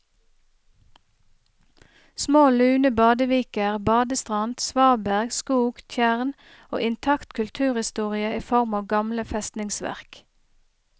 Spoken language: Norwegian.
Små lune badeviker, badestrand, svaberg, skog, tjern og intakt kulturhistorie i form av gamle festningsverk.